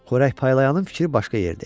Xörək paylayanın fikri başqa yerdə idi.